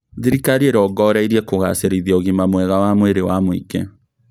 Thirikari irongoreirie kũgacĩrithia ũgima mwega wa mwĩrĩ wa mũingĩ